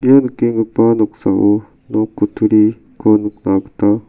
ia nikenggipa noksao nok kutturi ko nikna gita--